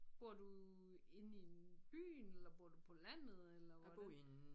Bor du inde i en byen eller bor du på landet eller hvordan?